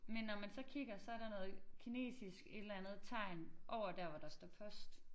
Men når man så kigger så der noget kinesisk et eller andet tegn over der hvor der står post